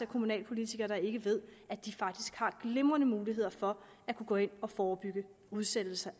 kommunalpolitikere der ikke ved at de faktisk har glimrende muligheder for at kunne gå ind og forebygge udsættelse